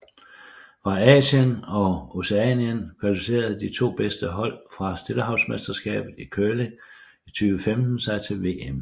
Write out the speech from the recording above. Fra Asien og Oceanien kvalificerede de to bedste hold fra Stillehavsmesterskabet i curling 2015 sig til VM